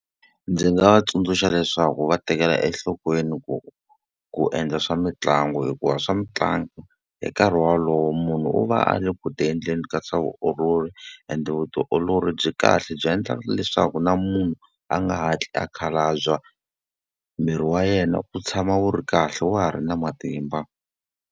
Ndzi nga va tsundzuxa leswaku va tekela enhlokweni ku ku endla swa mitlangu hikuva swa mitlangu, hi nkarhi wolowo munhu u va a ri ku endleni ka swa vutiolori. Ende vutiolori byi kahle byi endla leswaku na munhu a nga hatli a khalabya, miri wa yena wu tshama wu ri kahle wa ha ri na matimba.